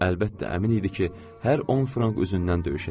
Əlbəttə, əmin idi ki, hər 10 frank üzündən döyüşəcək.